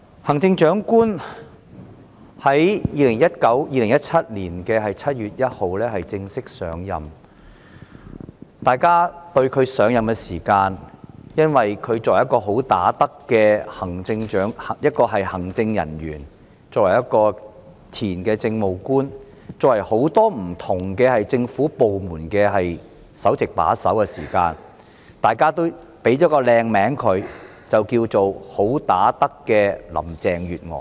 行政長官在2017年7月1日正式上任，由於她是"好打得"的行政人員、前任政務官，以及曾擔任不同政府部門的首席把手，大家也為她冠以美名，稱她為"好打得"的林鄭月娥。